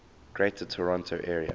greater toronto area